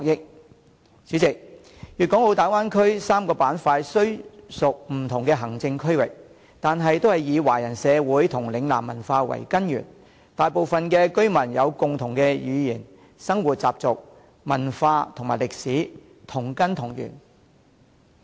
代理主席，粵港澳大灣區3個板塊雖屬不同的行政區域，但均以華人社會和嶺南文化為根源，大部分居民有共同的語言、生活習俗、文化和歷史，同根同源。